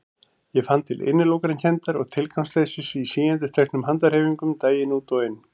Ég fann til innilokunarkenndar og tilgangsleysis í síendurteknum handahreyfingum daginn út og inn.